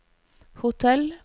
hotell